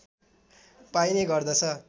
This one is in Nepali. पाइने गर्दछ